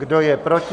Kdo je proti?